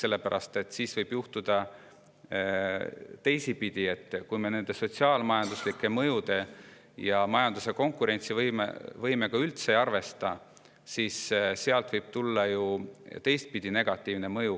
Muidu võib teisipidi tekkida just negatiivne mõju, kui me sotsiaal-majanduslike mõjude ja majanduse konkurentsivõimega üldse ei arvesta.